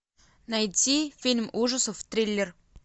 найти фильм ужасов триллер